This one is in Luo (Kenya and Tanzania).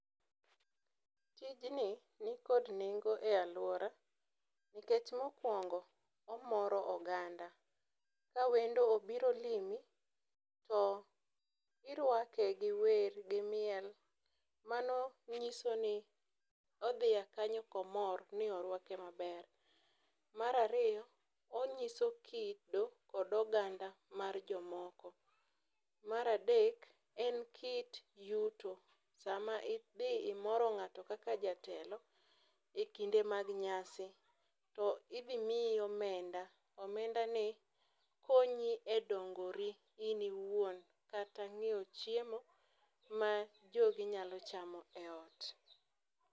Tijni ni kod nengo e aluora nikech mokuongo omoro oganda ka wendo obiro limi to iruake gi wer gi miel mano nyiso ni odhi a kanyo komor ni oruake maber, mar ariyo onyiso kido kod oganda mar jomoko, mar adek en kit yudo sama idhi imoro ngato kaka jatelo e kinde mag nyasi to idhi miyi omenda omenda ni konyi e dongori in owuon kata nyiewo chiemo ma jogi nyalo chamo e ot.